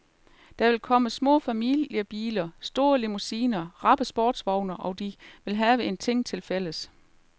Der vil komme små familiebiler, store limousiner, rappe sportsvogne, og de vil have en ting tilfælles.